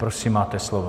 Prosím, máte slovo.